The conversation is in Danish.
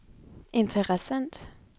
interessant